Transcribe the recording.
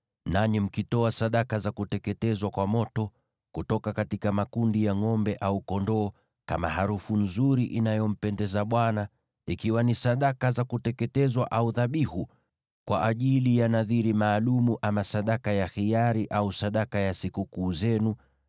nanyi mkitoa sadaka za kuteketezwa kwa moto, kutoka makundi ya ngʼombe au kondoo, kama harufu nzuri inayompendeza Bwana , ikiwa ni sadaka za kuteketezwa au dhabihu, kwa ajili ya nadhiri maalum ama sadaka ya hiari au sadaka ya sikukuu zenu,